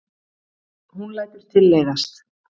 Hún lætur tilleiðast.